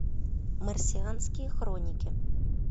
марсианские хроники